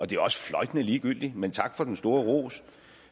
det er også fløjtende ligegyldigt men tak for den store ros